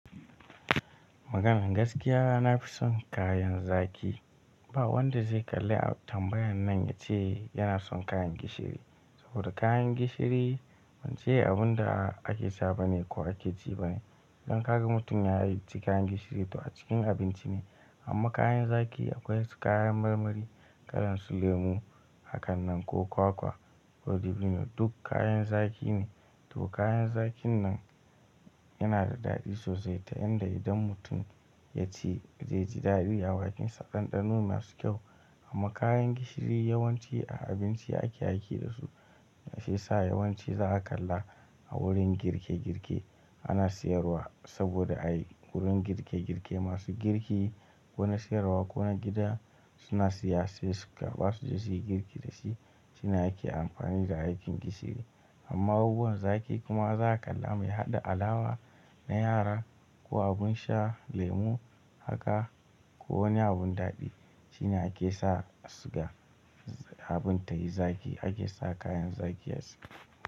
Maganan gaskiya, na fi son kayan zaki. Ba wanda zai kalla tambayan nan ya ce yana son kayan gishiri. Saboda kayan gishiri, ban ce abun da ake sha bane ko ake ci bane. Idan ka ga mutum ya yi ci kayan gishiri, to a cikin abinci ne. Amma kayan zaƙi akwai kayan marmari, kalan su lemu, hakan nan ko kwakwa ko dabino. Duk kayan zaki ne. To kayan zaƙin nan yana da daɗi sosai ta yanda idan mutum ya ci, zai ji daɗi a bakinsa. Ɗanɗano masu kyau. Amma kayan gishiri yawanci a abinci ake aiki da su. Shi yasa yawanci za ka kalla a wurin girke girke ana sayarwa. Saboda a yi wurin girke girke masu girki, wani sayarwa ko wani gida suna siya, sai su karɓa suje suyi girki da shi. Shine ake amfani da aikin gishiri. Amma abubuwan zaƙi kuma za ka kalla mai haɗa alawa na yara ko abun sha lemu haka ko wani abun daɗi shine ake sa suga. Abin ta yi zaki ake sa kayan zaki a si.